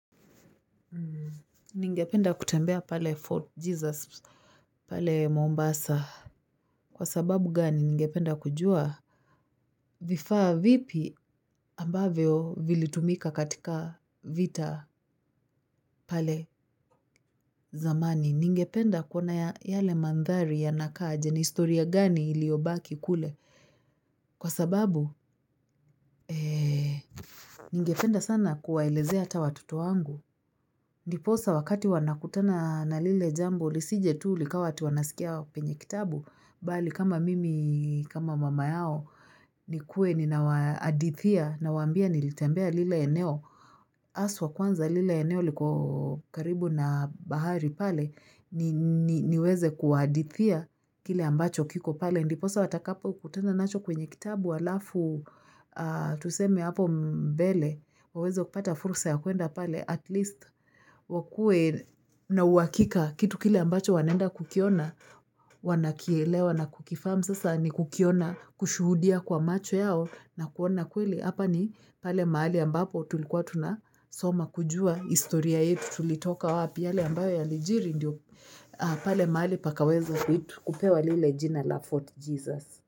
Ningependa kutembea pale Fort Jesus, pale Mombasa, kwa sababu gani ningependa kujua, vifaa vipi ambavyo vilitumika katika vita pale zamani, ningependa kuna yale mandhari ya nakaje ni historia gani iliyobaki kule, kwa sababu ningependa sana kuwaelezea ata watoto wangu. Ndiposa wakati wanakutana na lile jambo, lisije tu likawa tuwanasikia penye kitabu, bali kama mimi, kama mama yao, nikuwe ninawaadithia na wambia nilitembea lile eneo. Aswa kwanza lile eneo liko karibu na bahari pale niweze kuhadithia kile ambacho kiko pale. Ndiposa watakapo kutenda nacho kwenye kitabu alafu tusemi hapo mbele. Wawezo kupata fursa ya kuenda pale at least wakue na uhakika kitu kile ambacho wanenda kukiona wanakielewa na kukifahamu sasa ni kukiona kushuhudia kwa macho yao na kuona kweli hapa ni pale mahali ambapo tulikuwa tunasoma kujua historia yetu tulitoka wapi yale ambayo yalijiri ndio pale mahali pakaweza kupewa lile jina la Fort Jesus.